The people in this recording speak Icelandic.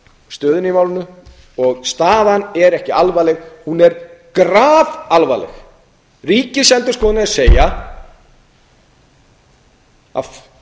stöðuna í málinu og staðan er ekki alvarleg hún er grafalvarleg ríkisendurskoðun er að segja að